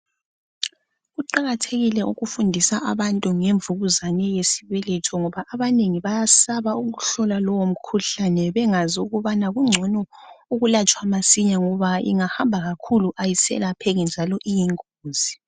Kuqakathekile ukufundisa abantu ngemvukuzane yesibeletho ngoba abanenengi bayasaba ukuhlola lowo mkhuhlane bengazi ukubana kungcono ukulatshwa masinya ngoba ingahamba kakhulu ayiselapheki njalo iyi ngozi.